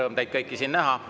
Rõõm teid kõiki siin näha.